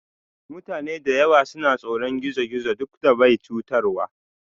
Mutane da yawa suna tsoron gizo-gizo duk da bai chutarwa.